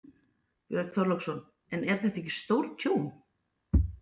Björn Þorláksson: En er þetta ekki stórtjón?